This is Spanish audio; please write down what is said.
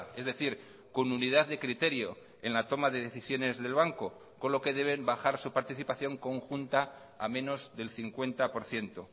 es decir con unidad de criterio en la toma de decisiones del banco con lo que deben bajar su participación conjunta a menos del cincuenta por ciento